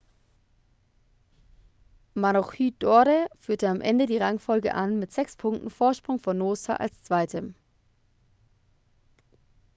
maroochydore führte am ende die rangfolge an mit sechs punkten vorsprung vor noosa als zweitem